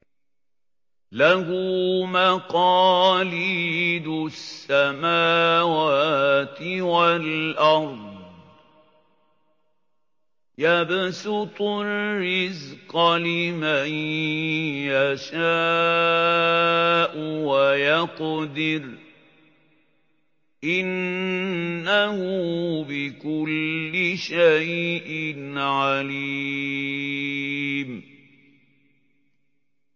لَهُ مَقَالِيدُ السَّمَاوَاتِ وَالْأَرْضِ ۖ يَبْسُطُ الرِّزْقَ لِمَن يَشَاءُ وَيَقْدِرُ ۚ إِنَّهُ بِكُلِّ شَيْءٍ عَلِيمٌ